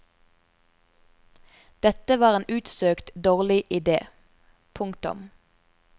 Dette var en utsøkt dårlig idé. punktum